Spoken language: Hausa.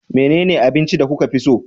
Menene abinci da kuka fi so?